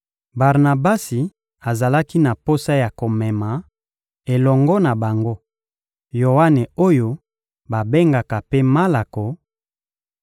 Barnabasi azalaki na posa ya komema, elongo na bango, Yoane oyo babengaka mpe Malako;